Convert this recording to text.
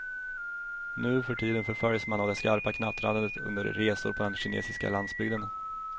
Nu för tiden förföljs man av det skarpa knattrandet under resor på den kinesiska landsbygden.